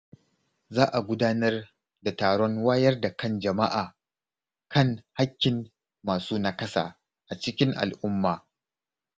Za a gudanar da taron wayar da kan jama’a kan haƙƙin masu nakasa a cikin al’umma.